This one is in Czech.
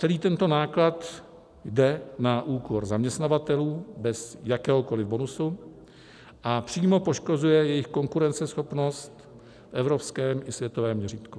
Celý tento náklad jde na úkor zaměstnavatelů bez jakéhokoli bonusu a přímo poškozuje jejich konkurenceschopnost v evropském i světovém měřítku.